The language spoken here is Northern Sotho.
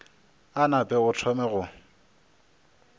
a nape a thome go